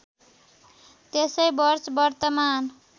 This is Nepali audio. त्यसै वर्ष वर्तमान